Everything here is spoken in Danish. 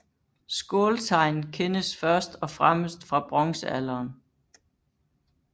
Skåltegn kendes først og fremmest fra bronzealderen